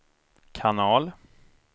kanal